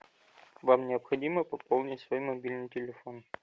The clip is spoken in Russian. вам необходимо пополнить свой мобильный телефон